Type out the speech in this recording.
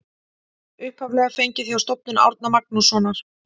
Upphaflega fengið hjá Stofnun Árna Magnússonar.